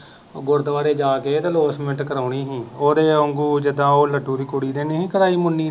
ਗੁਰਦਵਾਰੇ ਜਾ ਕੇ ਤੇ ਅਲੌਸਮੇਂਟ ਕਰਾਉਣੀ ਹੀ ਉਹਦੇ ਵਾਂਗੂ ਜਿਦਾ ਉਹ ਲੱਡੂ ਦੀ ਕੁੜੀ ਨੇ ਨਹੀਂ ਹੀ ਕਰਾਈ ਮੁੰਨੀ ਨੇ।